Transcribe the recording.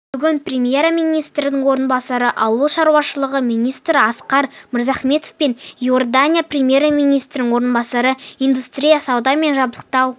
бүгін премьер-министрінің орынбасары ауыл шаруашылығы министрі асқар мырзахметов пен иордания премьер-министрінің орынбасары индустрия сауда және жабдықтау